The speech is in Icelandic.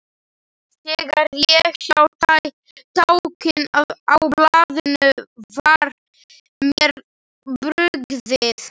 Þegar ég sá táknin á blaðinu var mér brugðið.